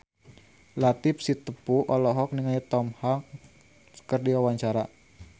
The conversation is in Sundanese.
Latief Sitepu olohok ningali Tom Hanks keur diwawancara